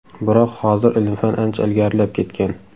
Biroq hozir ilm-fan ancha ilgarilab ketgan.